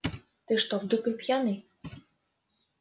ты что в дупель пьяный